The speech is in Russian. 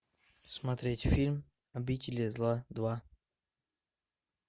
смотреть фильм обитель зла два